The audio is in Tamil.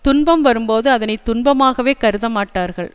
துன்பம் வரும் போது அதனை துன்பமாகவே கருத மாட்டார்கள்